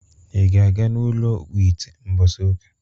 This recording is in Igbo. Ị ga-aga n'ụlọ ọkpụite mbọsi ụka?